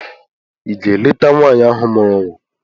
Ị ga-aga leta nwaanyị ahụ mụrụ nwa?